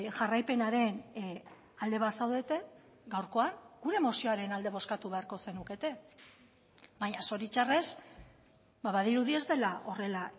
jarraipenaren alde bazaudete gaurkoan gure mozioaren alde bozkatu beharko zenukete baina zoritxarrez badirudi ez dela horrela